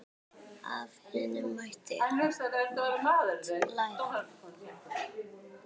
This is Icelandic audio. Af Hinna mátti margt læra.